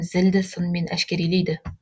зілді сынмен әшкерелейді